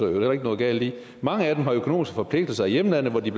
heller ikke noget galt i mange af dem har økonomiske forpligtelser i hjemlandet hvor de